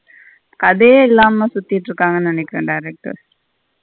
கதையே இல்லாம சுத்திட்டு இருக்குங்கனு நெனைக்குற director.